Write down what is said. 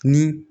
Ni